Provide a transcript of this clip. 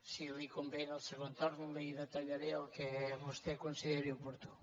si li convé en el segon torn li detallaré el que vostè consideri oportú